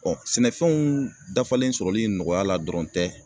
sɛnɛfɛnw dafalen sɔrɔli nɔgɔyala dɔrɔn tɛ